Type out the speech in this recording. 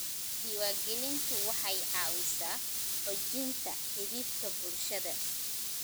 Diiwaangelintu waxay caawisaa xoojinta xidhiidhka bulshada.